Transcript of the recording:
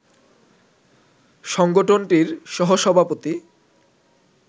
সংগঠনটির সহসভাপতি